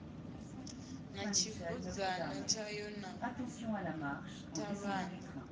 na tshibudzana tshayo na ṱhavhana